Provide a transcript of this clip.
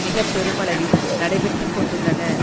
மிக பெருமளவில் நடைபெற்றுக்கொண்டுள்ளன